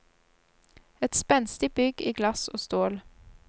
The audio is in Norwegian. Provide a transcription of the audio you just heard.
Et spenstig bygg i glass og stål.